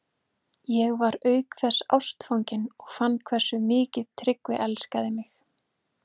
Loðfílar voru misstórir og af ólíkum tegundum.